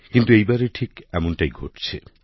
কিন্তু এই বারে ঠিক এমনটাই ঘটছে